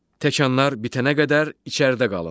Təkanlar bitənə qədər içəridə qalın.